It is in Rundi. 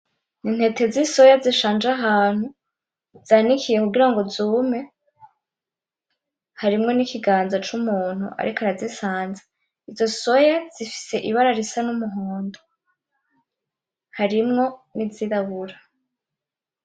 Intete zisoya zishanje ahantu, zanikiye kugira ngo zume, harimwo n'ikingaza c'umuntu ariko arazisanza, izo soya zifise ibara risa n'umuhondo, harimwo n'izirabura.